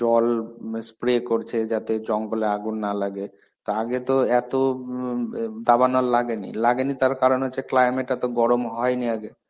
জল spreay করছে যাতে জঙ্গলে আগুন না লাগে. তা আগে তো এতো ইম ব দাবানল লাগেনি. লাগেনি তার কারণ হচ্ছে climate এত গরম হয়নি আগে.